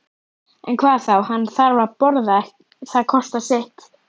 En hvað þá, hann þarf að borða, það kostar sitt.